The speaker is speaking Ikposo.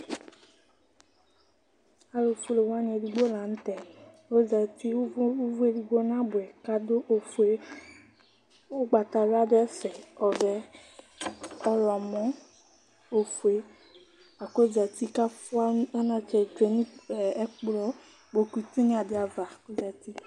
Alʋfue wani edigbo lanʋtɛ, Ɔzati ʋvʋ edigbo nabʋ yi kʋ adʋ ofue, ʋgbatawla dʋ ɛfɛ, ɔvɛ, ɔwlɔmɔ, ofue, lakʋ ɔzati kʋ afʋa anatsɛ tsue nʋ ikpokʋ tinyadi ava